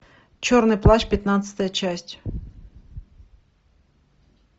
черный плащ пятнадцатая часть